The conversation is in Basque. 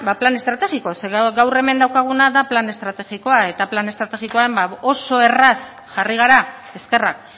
plan estrategikoa zeren gaur hemen daukaguna da plan estrategikoa eta plan estrategian oso erraz jarri gara eskerrak